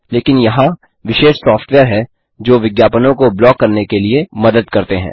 लेकिन यहाँ विशेष सॉफ्टवेयर हैं जो विज्ञापनों को ब्लॉक करने के लिए में मदद करते हैं